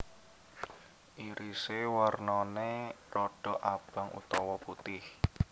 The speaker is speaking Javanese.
Irise warnane rodok abang utawa putih